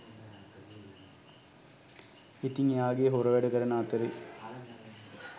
ඉතිං එයාගේ හොර වැඩ කරන අතරේ